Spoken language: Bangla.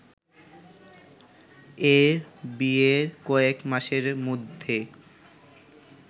এ ‘বিয়ে’র কয়েক মাসের মধ্যে